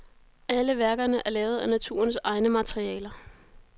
Alle værkerne er lavet af naturens egne materialer.